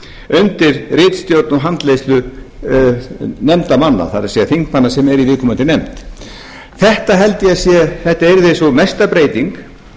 undir ritstjórn og handleiðslu nefndarmanna það er þingmanna sem eru í viðkomandi nefnd þetta yrði sú mesta breyting